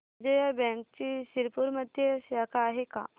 विजया बँकची शिरपूरमध्ये शाखा आहे का